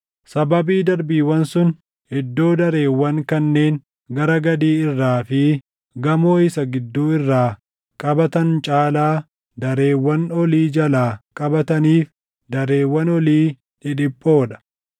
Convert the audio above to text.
Sababii darbiiwwan sun iddoo dareewwan kanneen gara gadii irraa fi gamoo isa gidduu irraa qabatan caalaa dareewwan olii jalaa qabataniif dareewwan olii dhidhiphoo dha.